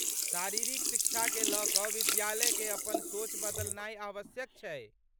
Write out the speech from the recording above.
शारीरिक शिक्षाकेँ लऽ कऽ विद्यालयकेँ अपन सोच बदलनाय आवश्यक छै।